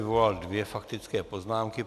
Vyvolal dvě faktické poznámky.